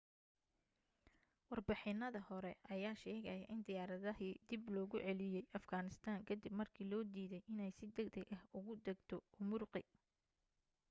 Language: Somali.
warbixinada hore ayaa sheegaaya in diyaaradii dib logu celiyay afghanistan ka dib markii loo diiday inay si degdeg ah ugu degto ürümqi